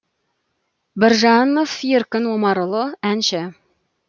біржанов еркін омарұлы әнші